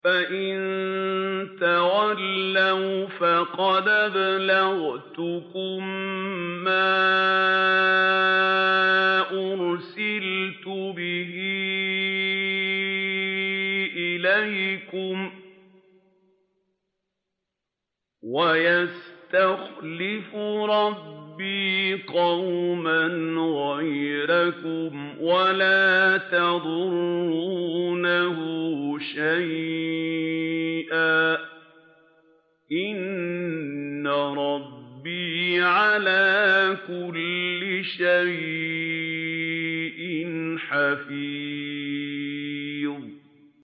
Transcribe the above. فَإِن تَوَلَّوْا فَقَدْ أَبْلَغْتُكُم مَّا أُرْسِلْتُ بِهِ إِلَيْكُمْ ۚ وَيَسْتَخْلِفُ رَبِّي قَوْمًا غَيْرَكُمْ وَلَا تَضُرُّونَهُ شَيْئًا ۚ إِنَّ رَبِّي عَلَىٰ كُلِّ شَيْءٍ حَفِيظٌ